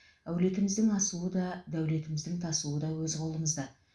әулетіміздің асуы да дәулетіміздің тасуы да өз қолымызда